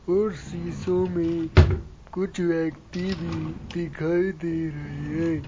उस शीशों में कुछ व्यक्ति भी दिखाई दे रहे है।